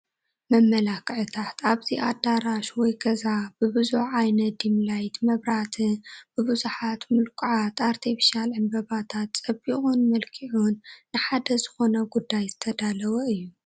መመላኽዕታት፡- ኣብዚ ኣዳራሽ ወይ ገዛ ብብዙሕ ዓይነት ዲምላይት መብራህቲን ብብዙሓት ምልኩዓት ኣርቴፊሻል ዕንበባታት ፀቢቑን መልኪዑን ንሓደ ዝኾነ ጉዳይ ዝተዳለወ እዩ፡፡